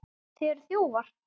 Þið eruð þjófar!